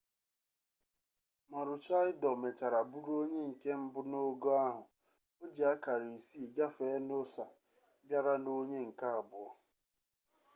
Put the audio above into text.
maroochydore mechara bụrụ onye nke mbụ n'ogo ahụ o ji akara isii gafee noosa bịara n'onye nke abụọ